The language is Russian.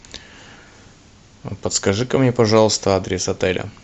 подскажи ка мне пожалуйста адрес отеля